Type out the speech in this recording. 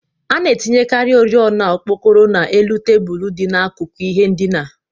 A na-etinyekarị oriọna okpokoro n'elu tebụl dị n'akụkụ ihe ndina